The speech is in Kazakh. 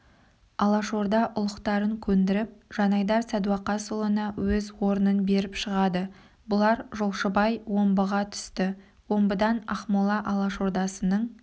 алашорда ұлықтарын көндіріп жанайдар сәдуақасұлына өз орнын беріп шығады бұлар жолшыбай омбыға түсті омбыдан ақмола алашордасының